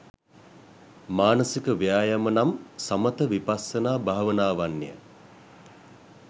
මානසික ව්‍යායාම නම් සමථ විපස්සනා භාවනාවන් ය.